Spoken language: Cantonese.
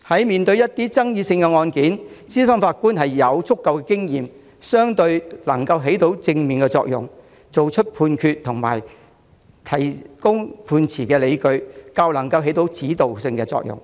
面對一些爭議性案件，資深法官有足夠經驗，能夠發揮正面作用，作出判決及為判決提供理據，有指導作用。